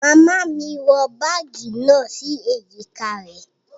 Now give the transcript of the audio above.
Màmá mí wọ bagi náà si ejika rẹ